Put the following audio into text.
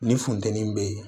Ni funteni bɛ yen